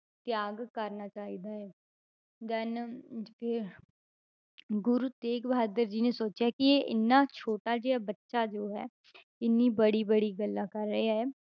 ਤਿਆਗ ਕਰਨਾ ਚਾਹੀਦਾ ਹੈ then ਅਹ ਕੀ ਹੋਇਆ ਗੁਰੂ ਤੇਗ ਬਹਾਦਰ ਜੀ ਨੇ ਸੋਚਿਆ ਕਿ ਇਹ ਇੰਨਾ ਛੋਟਾ ਜਿਹਾ ਬੱਚਾ ਜੋ ਹੈ ਇੰਨੀ ਬੜੀ ਬੜੀ ਗੱਲਾਂ ਕਰ ਰਿਹਾ ਹੈ,